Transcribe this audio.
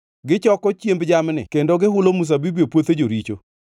Gichoko chiemb jamni kendo gihulo mzabibu e puothe joricho.